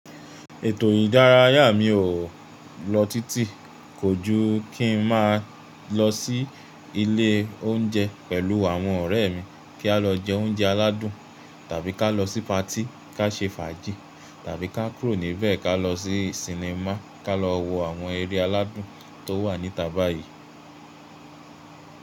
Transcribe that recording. Ètò ìdárayá mi o lọ títì, kò jú kí n má lọ sí ilé oúnjẹ pèlú àwọn ọ̀rẹ́ mi kí a lọ jẹ oúnjẹ aládùn tàbí ká lọ sí patí ká ṣe fàájì tàbí ká kúrò níbẹ̀ ká lọ sí sinimá ká lọ wo àwọn eré aládùn tó wà níta báyìí.